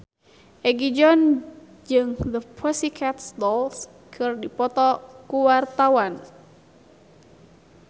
Egi John jeung The Pussycat Dolls keur dipoto ku wartawan